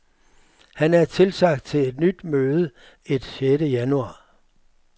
Han er tilsagt til et nyt møde et sjette januar.